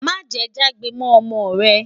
má jè jagbe mọ ọmọ rè